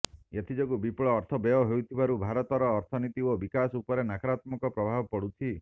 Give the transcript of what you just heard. ଏଥିଯୋଗୁ ବିପୁଳ ଅର୍ଥ ବ୍ୟୟ ହେଉଥିବାରୁ ଭାରତର ଅର୍ଥନୀତି ଓ ବିକାଶ ଉପରେ ନକରାତ୍ମକ ପ୍ରଭାବ ପଡୁଛି